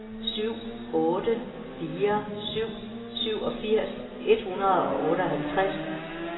syv otte fire syv syvogfirs et hundrede og otteoghalvtreds